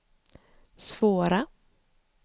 svåra